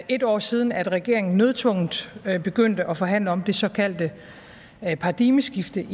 et år siden at regeringen nødtvungent begyndte at forhandle om det såkaldte paradigmeskifte